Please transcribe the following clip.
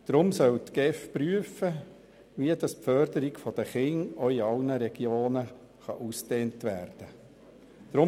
Deshalb soll die GEF prüfen, wie die Förderung der Kinder in allen Regionen ausgedehnt werden kann.